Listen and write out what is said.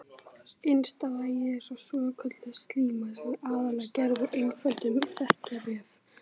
Innsta lagið er svokölluð slíma sem er aðallega gerð úr einföldum þekjuvef með staflaga frumum.